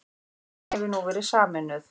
Fjölskyldan hefur nú verið sameinuð